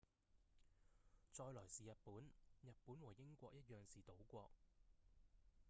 再來是日本日本和英國一樣是島國